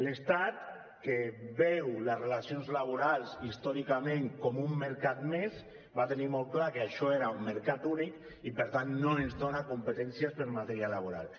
l’estat que veu les relacions laborals històricament com un mercat més va tenir molt clar que això era un mercat únic i per tant no ens dona competències per a matèria laboral